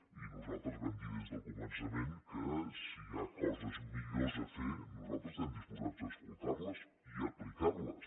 i nosaltres vam dir des del començament que si hi ha coses millors a fer nosaltres estem disposat a escoltar les i a aplicar les